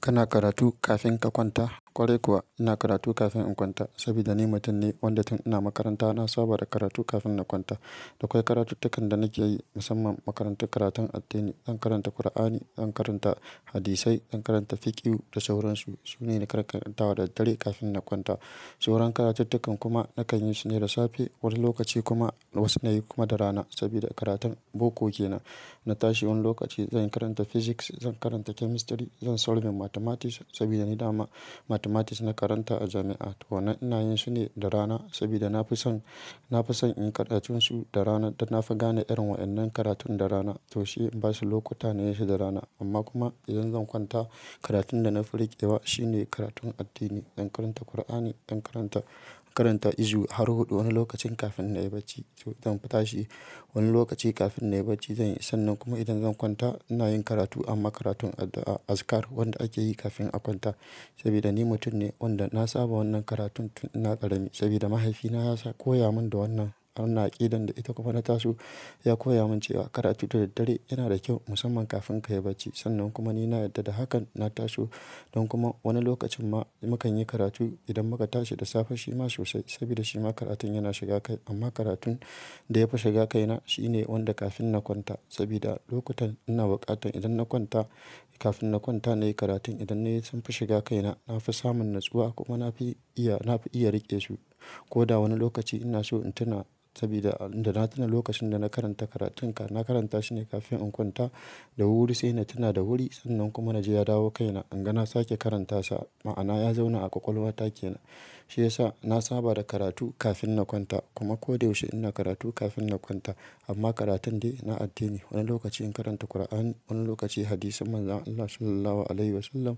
Kana karatu kafin ka kwanta? Kwarai kuwa ina karatu kafin in kwanta saboda ni mutum ne wanda tun ina makaranta na saba da karatu kafin na kwanta. Da akwai karatuttukan da nake yi musamman makarantun karatun addini. Zan karanta Kur'ani, zan karanta hadisai, zan karanta fiqhu da sauran su. Su ne na karanta da daddare kafin na kwanta. Sauran karatuttukan kuma na kan yi su ne da safe. Wani lokaci kuma wasu na yi kuma da rana saboda karatun boko ke nan. Na tashi wani lokaci zan karanta physics, zan karanta chemistry, zan solve mathematics saboda ni dama mathematics na karanta a jami'a. To wannana in yin su ne da rana saboda na fi son, na fi son in kaɗa tun su da rana. Dan na fi gane irin wa'annan karatun da rana to shi in ba su lokuta na yi su da rana. Amma kuma idan zan kwanta karatun da na fi riƙe da wa shi ne karatun addini. Zan karanta Kur'ani, zan karanta, karanta izu har huɗu wani lokacin kafin na yi bacci. To zan tashi wani lokaci kafin na yi bacci zan yi sannan kuma idan zan kwanta ina yin karatu amma karatun azikar wanda ake yi kafin a kwanta. Saboda ni mutum ne wanda na saba wannan karatun tun ina ƙarami saboda mahaifina ya koya mun da wannan. Ana ƙidan da ita kuma na taso ya koya mun cewa karatu da daddare yana da kyau musamman kafin ka yi bacci. Sannan kuma ni na yarda da hakan na taso don kuma wani lokacin ma mu kan yi karatu idan muka tashi da safe shi ma sosai saboda shi ma karatun yana shiga kai. Amma karatun da ya fi shiga kaina shi ne wanda kafin na kwanta saboda lokutan ina buƙatan idan na kwanta kafin na kwanta na yi karatun idan na yi sun fi shiga kaina. Na fi samun natsuwa kuma na fi iya, na fi iya riƙe su. Ko da wani lokaci ina so in tuna saboda da na tuna lokacin da na karanta karatun ka na karanta shi ne kafin in kwanta da wuri sai na tuna da wuri. Sannan kuma na ji ya dawo kaina an ga na sake karanta sa. Ma'ana ya zauna a ƙwaƙwalwa take na shi ya sa na saba da karatu kafin na kwanta kuma koyaushe ina karatu kafin na kwanta. Amma karatun dai na addini wani lokaci in karanta Kur'ani, wani lokaci hadisi manzan Allah Sallallahu Alaihi Wasallam,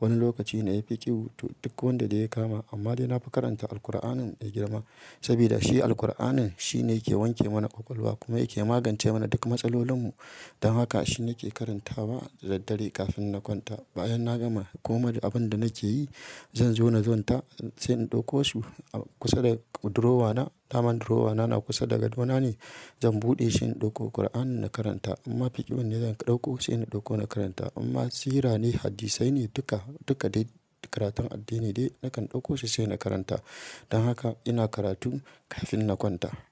wani lokaci na yi fiqhu duk wanda ya kama. Amma dai na fi karanta Alqur'anin mai girma saboda shi Alqur'anin shi ne yake wanke mana ƙwaƙwalwa kuma yake magance mana duk matsalolin mu. Dan haka shi nake karanta ba da daddare kafin na kwanta. Bayan na gama komai abin da nake yi zan zo na zonta sai in ɗauko su a kusa da durowa na. Daman durowa na, na kusa da ga ɗona ne. Zan buɗe shi in ɗauko Kur'ani na karanta amma fiƙhin ne zan ɗauko sai in ɗauko na karanta. Imma sirra ne, hadisi ne duka, duka dai karatun addini dai nakan ɗauko su sai na karanta. Dan haka ina karatu kafin na kwanta.